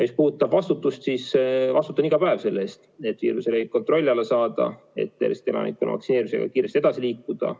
Mis puudutab vastutust, siis ma vastutan iga päev selle eest, et viiruse levik kontrolli alla saada, et Eesti elanikkonna vaktsineerimisega kiiresti edasi liikuda.